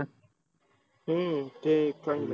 हम्म ते खंड आहे.